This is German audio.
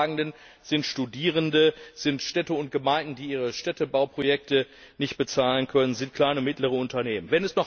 Die Leidtragenden sind Studierende, sind Städte und Gemeinden, die ihre Städtebauprojekte nicht bezahlen können, sind kleine und mittlere Unternehmen.